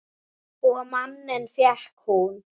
Og manninn fékk hún.